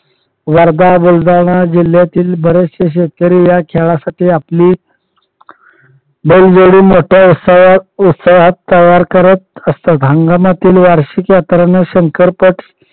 वर्धा बुलढाणा जिल्ह्यातील बरेचसे शेतकरी या खेळासाठी आपले बैलजोडी मोठ्या उत्साहात उत्साहात तयार करत असतात. हंगामातील वार्षिक यात्रा ना शंकर पट